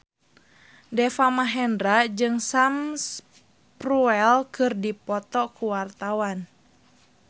Deva Mahendra jeung Sam Spruell keur dipoto ku wartawan